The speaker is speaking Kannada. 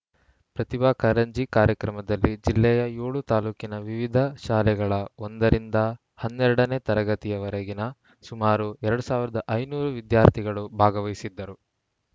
ಪ್ರತಿಭಾ ಕಾರಂಜಿ ಕಾರ್ಯಕ್ರಮದಲ್ಲಿ ಜಿಲ್ಲೆಯ ಏಳು ತಾಲೂಕಿನ ವಿವಿಧ ಶಾಲೆಗಳ ಒಂದರಿಂದ ಹನ್ನೆರಡ ನೇ ತರಗತಿವರೆಗಿನ ಸುಮಾರು ಎರಡ್ ಸಾವಿರದ ಐದುನೂರು ವಿದ್ಯಾರ್ಥಿಗಳು ಭಾಗವಹಿಸಿದ್ದರು